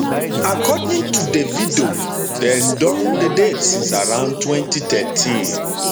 according to davido dem don dey date since around 2013